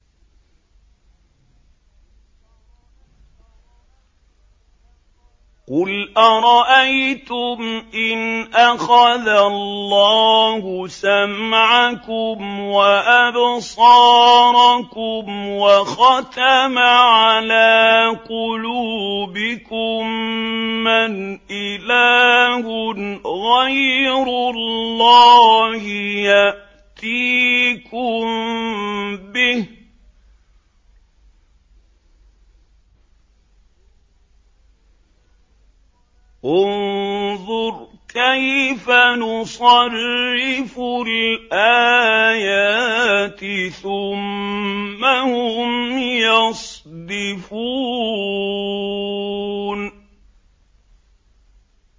قُلْ أَرَأَيْتُمْ إِنْ أَخَذَ اللَّهُ سَمْعَكُمْ وَأَبْصَارَكُمْ وَخَتَمَ عَلَىٰ قُلُوبِكُم مَّنْ إِلَٰهٌ غَيْرُ اللَّهِ يَأْتِيكُم بِهِ ۗ انظُرْ كَيْفَ نُصَرِّفُ الْآيَاتِ ثُمَّ هُمْ يَصْدِفُونَ